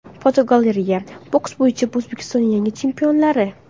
Fotogalereya: Boks bo‘yicha O‘zbekistonning yangi chempionlari.